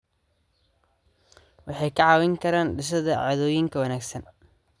Waxay kaa caawin karaan dhisidda caadooyinka wanaagsan.